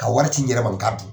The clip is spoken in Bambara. Ka wari ci n yɛrɛ ma n ka dun.